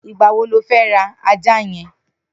Nigbà wó ló fẹ̀ rà àjá yèn?